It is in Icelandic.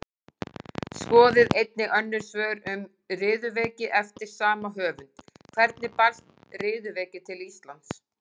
Skoðið einnig önnur svör um riðuveiki eftir sama höfund: Hvernig barst riðuveiki til Íslands?